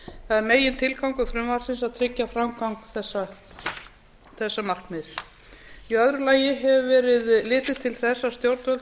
það er megintilgangur frumvarpsins að tryggja framgang þessa markmiðs í öðru lagi hefur verið litið til þess að stjórnvöld